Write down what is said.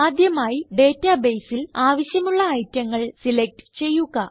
ആദ്യമായി databaseൽ ആവശ്യമുള്ള ഐറ്റങ്ങൾ സിലക്റ്റ് ചെയ്യുക